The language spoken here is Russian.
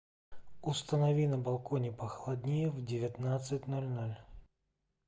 установи на балконе похолоднее в девятнадцать ноль ноль